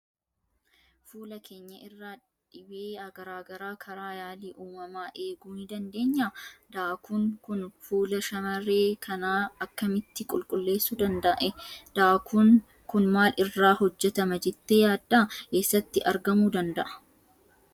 Fuula keenya irraa dhibee garaa garaa karaa yaalii uumamaa eeguu ni dandeenyaa? Daakuun kun fuula shamarree kanaa akkamitti qulleessuu danda'e? Daakuun kun maal irraa hojjetama jettee yaadda? Eessattis argamuu danda'a?